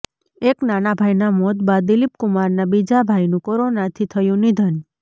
એક નાના ભાઇના મોત બાદ દિલીપ કુમારના બીજા ભાઈનું કોરોનાથી થયું નિધન